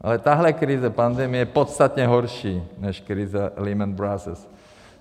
Ale tahle krize, pandemie, je podstatně horší než krize Lehman Brothers.